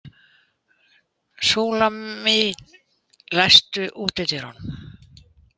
Súlamít, læstu útidyrunum.